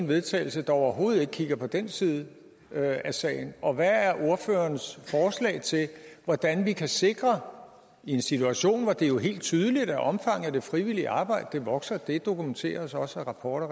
vedtagelse der overhovedet ikke kigger på den side af sagen og hvad er ordførerens forslag til hvordan vi kan sikre i en situation hvor det jo er helt tydeligt at omfanget af det frivillige arbejde vokser og det dokumenteres også af rapporter